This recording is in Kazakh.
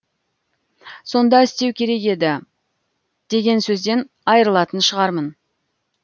сонда істеу керек еді деген сөзден айырылатын шығармын